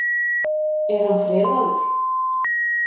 Er hann friðaður?